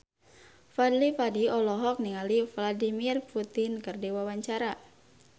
Fadly Padi olohok ningali Vladimir Putin keur diwawancara